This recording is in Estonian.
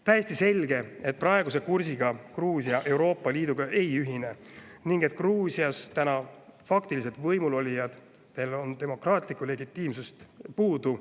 Täiesti selge, et praeguse kursiga Gruusia Euroopa Liiduga ei ühine ning et Gruusias täna faktiliselt võimul olijatel on demokraatlikku legitiimsust puudu.